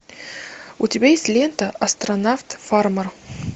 у тебя есть лента астронавт фармер